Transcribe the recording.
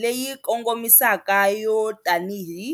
leyi kongomisaka yo tanihi.